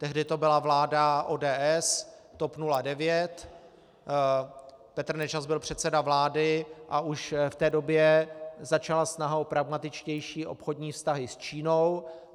Tehdy to byla vláda ODS, TOP 09, Petr Nečas byl předseda vlády a už v té době začala snaha o pragmatičtější obchodní vztahy s Čínou.